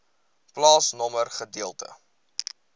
plaasnommer gedeelte